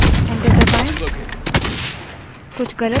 कुछ गलत password दीजिए और enter प्रेस करें